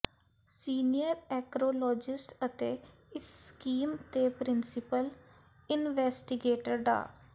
senior oncologist ਅਤੇ ਇਸ scheme ਦੇ ਪ੍ਰਿੰਸੀਪਲ ਇਨਵੈਸਟੀਗੇਟਰ ਡਾ